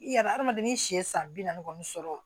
I yɛrɛ adamaden si ye san bi naani kɔni sɔrɔ